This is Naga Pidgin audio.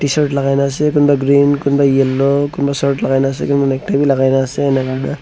tshirt lagai na ase kunba green kunba yellow kunba shirt lagai na ase kunba necktie bhi lagai na ase enaka--